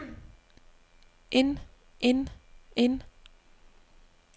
end end end